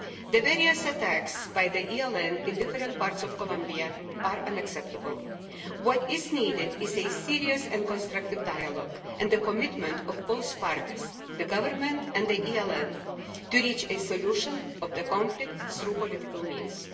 The various attacks by the ELN in different parts of Colombia are unacceptable. What is needed is a serious and constructive dialogue and the commitment of both parties, the Government and the ELN, to reach a solution of the conflict through political means.